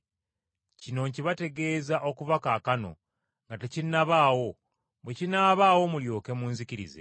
Kino nkibategeeza okuva kaakano, nga tekinnabaawo, bwe kinaabaawo mulyoke munzikirize.